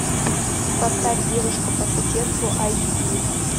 поставь девушка по соседству айч ди